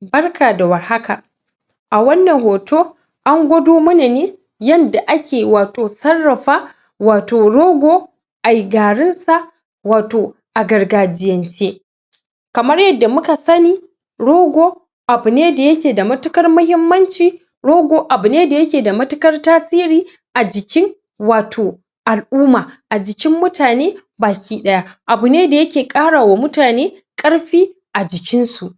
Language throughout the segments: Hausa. barka da warhaka a wannan hoto an gwado mana ne yadda ake wato sarrafa wato rogo a yi garinsa wato a gargajiyance kamar yadda muka sani rogo abune dayake da matukar muhimman ci rogo abune dayake da matukar tasiri ajikin a jikin wato al-umma a jikin mutane bakidaya abune dayake ƙarawa mutane ƙarfi ajikin su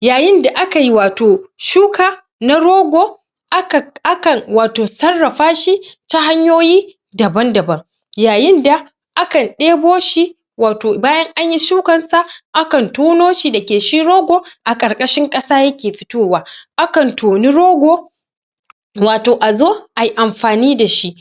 yayinda akai wato shuka na rogo akan akan wato sarrafashi ta hanyoyi daban-daban yayin da akan ɗebo shi wato bayan anyi shukan sa akan tono shi dake shi rogo a ƙarƙashin ƙasa yake fitowa akan toni rogo wato azo ayi amfani dashi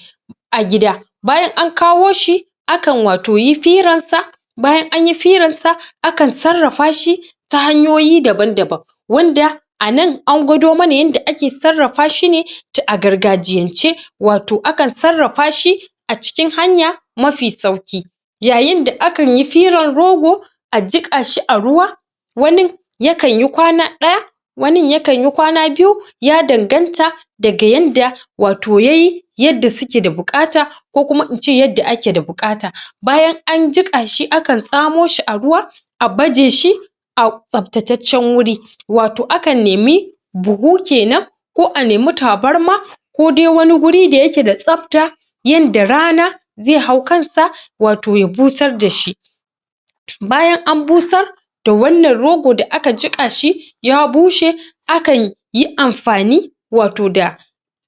a gida bayan ankawo shi akan wato yi firansa bayan anyi firansa akan sarrafa shi ta hanyoyi daban-daban wanda anan angwado mana yadda ake sarrafa shi ne to agargajiyance wato akan sarrafa shi acikin hanya mafi sauki yayin da akan yi firan rogo a jiƙashi a ruwa wani yakan yi kwana ɗaya wanin yakan yi kwana biyu ya danganta daga yadda wato yayi yanda suke da bukata ko kuma ince yadda ake da buƙata bayan an jikashi akan tsamo shi a ruwa a baje shi a tsaftataccen wuri wato akan nemi buhu kenan ko a nemi tabarma ko dai wani guri dayake da tsabta yadda rana zai hau kansa wato ya busar dashi bayan an busar da wannan rogo da aka jikashi ya bushe akanyi amfani wato da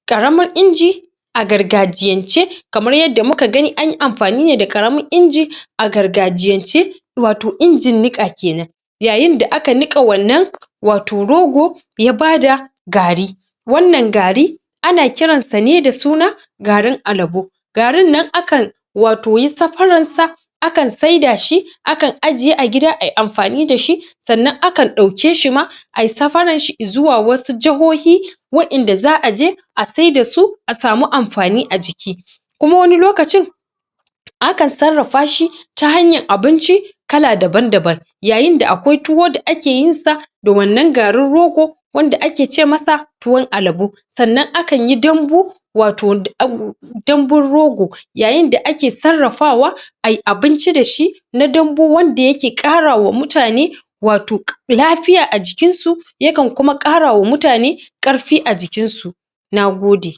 ƙaramin inji a gargajiyance kmar yadda muka gani anyi amfani ne da ƙaramin inji a gargajiyance wato injin niƙa kenan yayin da aka niƙa wannan wato rogo ya bada gari wannan gari ana kiransa ne da suna garin alabo garin nan akan wato yi safaransa akan saida shi akan ajiye a gida ayi amfani da shi sannan akan ɗauke shima ayi safarar shi izuwa wasu jahohi waƴan da za'a je a saidasu a samu amfani ajiki kuma wani lokacin a kan sarrafa shi ta hanyan abinci kala daban-daban yayin da akwai tuwo da akeyinsa da wannan garin rogo wanda ake cemasa tuwon alabo sannan akan yi dabbu wato danbun rogo yayin da ake sarrafawa ayi abinci da shi na dambu wanda yake ƙarawa mutane wato lafiya ajikin su ya kan kuma ƙarawa mutane ƙarfi ajikin su nagode